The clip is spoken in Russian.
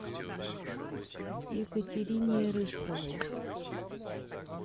екатерине рыжковой